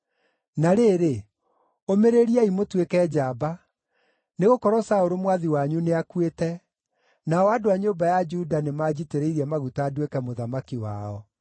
Na rĩrĩ, ũmĩrĩriai mũtuĩke njamba, nĩgũkorwo Saũlũ mwathi wanyu nĩakuĩte, nao andũ a nyũmba ya Juda nĩmanjitĩrĩirie maguta nduĩke mũthamaki wao.”